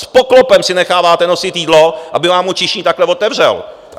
S poklopem si necháváte nosit jídlo, aby vám ho číšník takhle otevřel.